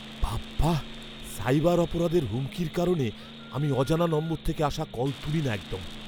বাবাঃ, সাইবার অপরাধের হুমকির কারণে আমি অজানা নম্বর থেকে আসা কল তুলি না একদম।